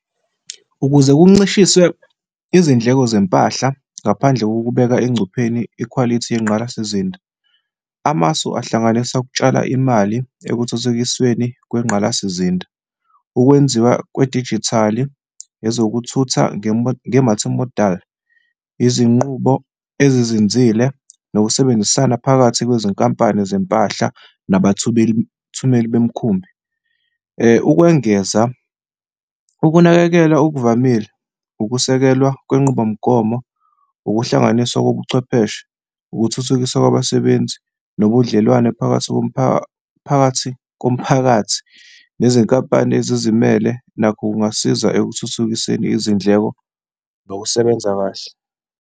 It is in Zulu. Ukuze kuncishiswe izindleko zempahla ngaphandle kokubeka engcupheni ikhwalithi yengqalasizinda, amasu ahlanganisa ukutshala imali ekuthuthukisweni kwengqalasizinda, ukwenziwa kwedijithali, ezokuthutha nge-multi-modal, izinqubo ezizinzile nokusebenzisana phakathi kwezinkampani zempahla nabathumeli bemkhumbi. Ukwengeza, ukunakekela okuvamile, ukusekelwa kwenqubomgomo, ukuhlanganiswa kobuchwepheshe, ukuthuthukiswa kwabasebenzi nobudlelwane phakathi komphakathi phakathi komphakathi nezinkampani ezizimele nakho kungasiza ekuthuthukiseni izindleko nokusebenza kahle.